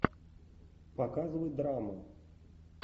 показывай драму